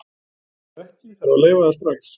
Ef ekki, þarf að leyfa það strax.